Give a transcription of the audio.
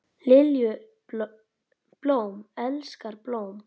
Lilju, blóm elskar blóm.